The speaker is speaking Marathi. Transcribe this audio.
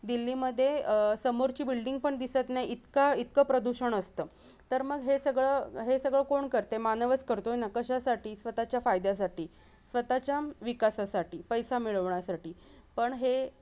दिल्ली मधे अह समोरची building पण दिसत नाही इतका-इतका प्रदूषण असत तर मग हे सगळं हे सगळं कोण करतय मानवच करतोय ना कशासाठी स्वतःच्या फायद्यासाठी स्वतःच्या विकासासाठी पैसा मिळवण्यासाठी पण हे